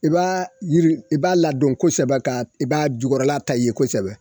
I b'a yiri, i b'a ladon kosɛbɛ ka, i b'a jukɔrɔla kosɛbɛ